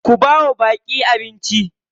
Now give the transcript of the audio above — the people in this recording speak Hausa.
Ku bawa baƙi abnici.